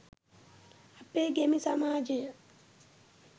අපේ ගැමි සමාජය